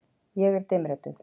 Ég er dimmrödduð.